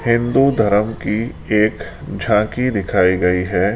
हिंदू धरम की एक झांकी दिखाई गई है।